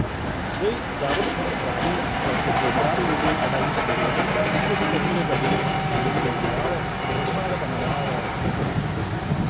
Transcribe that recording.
Zdaj Završnik pravi, da so že opravili del analiz terena, skozi katerega bi zgradili dvigalo, preostale pa nameravajo to poletje.